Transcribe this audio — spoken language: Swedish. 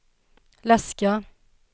läska